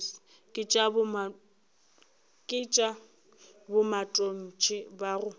ke tša bomatontshe ba go